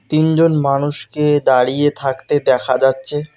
তিনজন মানুষকে দাঁড়িয়ে থাকতে দেখা যাচ্ছে।